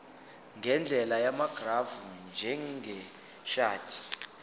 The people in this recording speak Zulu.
ngendlela yamagrafu njengeshadi